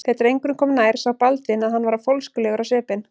Þegar drengurinn kom nær sá Baldvin að hann var fólskulegur á svipinn.